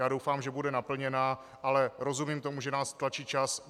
Já doufám, že bude naplněna, ale rozumím tomu, že nás tlačí čas.